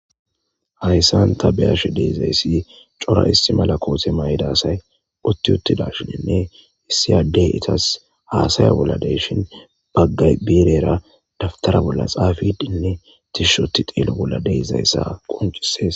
Haysa ta bea'she dizaysi cora issi mala kote mayida asay utti uttidashenne issi ade etas hasayavbola dei'shin,bagay birera dawutara boll xafidenne tishi ootidi xelo bolla dizaysa qoncises.